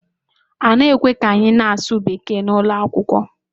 A na-ekwe ka anyị na-asụ Bekee naanị n'ụlọ akwụkwọ